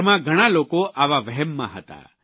દુનિયાભરમાં ઘણા લોકો આવા વહેમમાં હતા